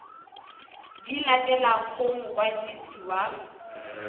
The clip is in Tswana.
di latelang go mokwadisi wa